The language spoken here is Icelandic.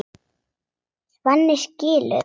Svenni skilur.